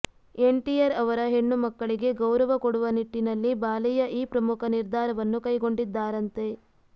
N TR ಅವರ ಹೆಣ್ಣು ಮಕ್ಕಳಿಗೆ ಗೌರವ ಕೊಡುವ ನಿಟ್ಟಿನಲ್ಲಿ ಬಾಲಯ್ಯ ಈ ಪ್ರಮುಖ ನಿರ್ಧಾರವನ್ನು ಕೈಗೊಂಡಿದ್ದಾರಂತೆ